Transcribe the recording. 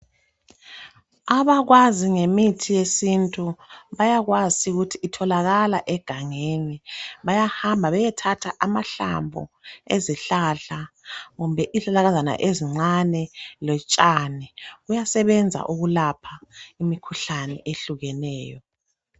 Abakwazi ngemithi yesintu bayakwazi ukuthi itholakala egangeni bayahamba beyethatha amahlamvu ezihlahla kumbe izihlahlakazana ezincane lotshani kuyasebenza ukulapha imikhuhlane ehlukeneyo.